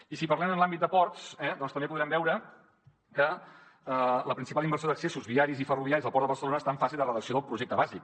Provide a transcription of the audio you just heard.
i si parlem en l’àmbit de ports eh doncs també podem veure que la principal inversió d’accessos viaris i ferroviaris al port de barcelona està en fase de redacció del projecte bàsic